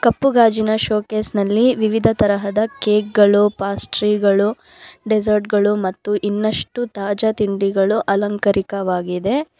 ಕಪ್ಪು ಗಾಜಿನ ಶೋಕೇಸ್ ನಲ್ಲಿ ವಿವಿಧ ತರಹ ಕೇಕ್ ಪೇಸ್ಟ್ರೀ ಡೆಸರ್ಟ್ ಗಳು ಮತ್ತು ಇನ್ನಷ್ಟು ತಾಜಾ ತಿಂಡಿಗಳು ಅಲಂಕರಿಕವಾಗಿದೆ.